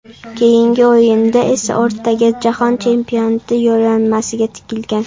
Keyingi o‘yinda esa o‘rtaga jahon chempionati yo‘llanmasi tikilgan.